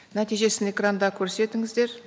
нәтижесін экранда көрсетіңіздер